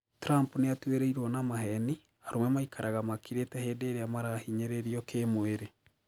Trump niatwiriirwo na maheni Arũme maikaraga makirite hindi iria marahinyĩririo kĩmwĩrĩ